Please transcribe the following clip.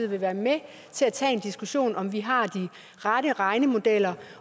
vil være med til at tage en diskussion om om vi har de rette regnemodeller og